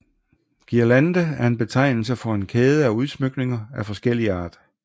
Guirlande er en betegnelse for en kæde af udsmykninger af forskellig art